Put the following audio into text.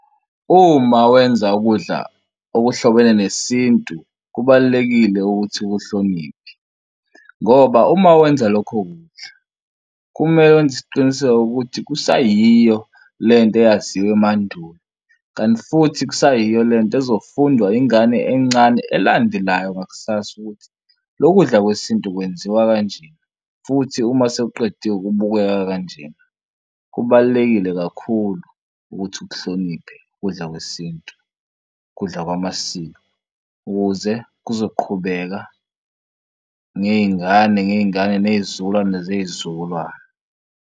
Uma wenza ukudla okuhlobene nesintu, kubalulekile ukuthi uhloniphe ngoba uma wenza lokho kudla kumele wenze isiqiniseko ukuthi kusayiyo le nto eyaziwa emandulo kanti futhi kusayiyo le nto ezofundwa ingane encane elandelayo ngakusasa ukuthi lokudla kwesintu kwenziwa kanje, futhi uma sewuqedile kubukeka kanje. Kubalulekile kakhulu ukuthi ukuhloniphe ukudla kwesintu kudla kwamasiko ukuze kuzoqhubeka ngey'ngane ngey'ngane ney'zukulwane zey'zukulwane.